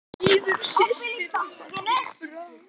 Auður systir er fallin frá.